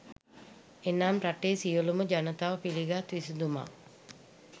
එනම් රටේ සියලුම ජනතාව පිළිගත් විසඳුමක්